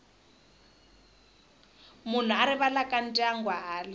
munhu a rivalaka ndyangu hala